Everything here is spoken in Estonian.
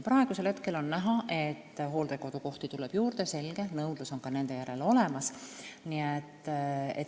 Praegu on näha, et hooldekodukohti tuleb juurde, selge nõudlus nende järele on olemas.